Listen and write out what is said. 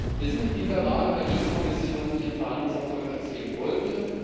Wir sind in dieser Lage, weil die EU-Kommission ihren Verhandlungserfolg erzwingen wollte.